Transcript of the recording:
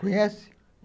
Conhece?